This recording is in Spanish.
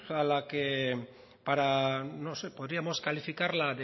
a la que para no sé podríamos calificarla